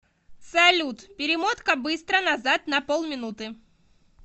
салют перемотка быстро назад на полминуты